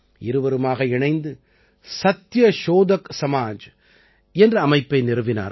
இருவருமாக இணைந்து சத்யஷோதக் சமாஜ் என்ற அமைப்பை நிறுவினார்கள்